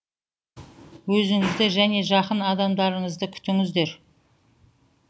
өзіңізді және жақын адамдарыңызды күтіңіздер